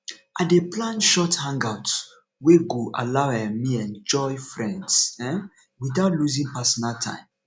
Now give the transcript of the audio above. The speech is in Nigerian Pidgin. i dey plan short hangouts wey go allow um me enjoy friends um without losing personal time